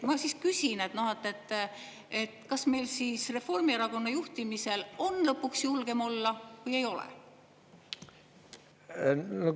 Ma küsin, et kas meil siis Reformierakonna juhtimisel on lõpuks julgem olla või ei ole?